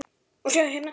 Og sjáið hérna!